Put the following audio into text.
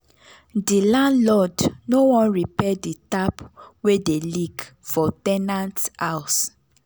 the landlord no wan repair the the tap wey dey leak for ten ant house.